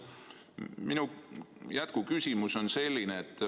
Minu jätkuküsimus on selline.